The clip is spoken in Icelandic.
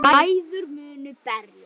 Bræður munu berjast